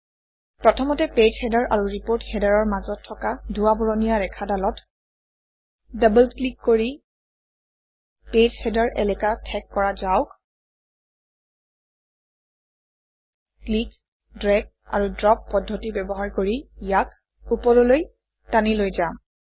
প্ৰথমতে page header আৰু report Header অৰ মাজত থকা ধোঁৱা বৰণীয়া ৰেখাডালত ডবল ক্লিক কৰি পেজ হেডাৰ এলেকা ঠেক কৰা যাওক ক্লিক ড্ৰেগ আৰু ড্ৰপ পদ্ধতি ব্যৱহাৰ কৰি ইয়াক ওপৰলৈ টানি লৈ যাম